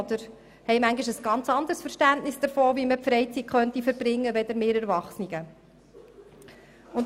Sie haben manchmal auch ein ganz anderes Verständnis davon, wie man die freie Zeit verbringen könnte, als wir Erwachsenen.